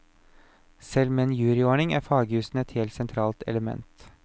Selv med en juryordning er fagjusen et helt sentralt element.